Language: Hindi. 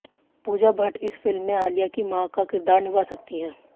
पूजा भट्ट इस फिल्म में आलिया की मां का किरदार निभा सकती हैं